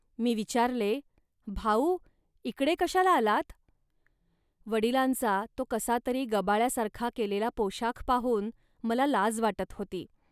मी विचारले, "भाऊ इकडे कशाला आलात. वडिलांचा तो कसातरी गबाळ्यासारखा केलेला पोशाख पाहून मला लाज वाटत होती